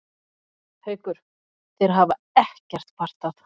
Haukur: Þeir hafa ekkert kvartað?